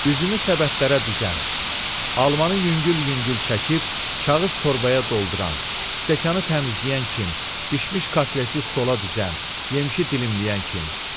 Üzümü səbətlərə düzən, almanın yüngül-yüngül çəkib kağız torbaya dolduran, stəkanı təmizləyən kim, bişmiş kotleti stola düzən, yemişi dilimləyən kim.